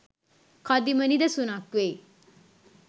කදිම නිදසුනක් වෙයි